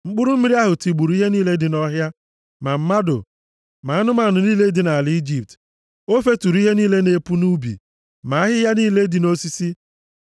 Mkpụrụ mmiri ahụ tigburu ihe niile dị nʼọhịa, ma mmadụ ma anụmanụ niile dị nʼala Ijipt. O feturu ihe niile na-epu nʼubi, ma ahịhịa niile dị nʼosisi.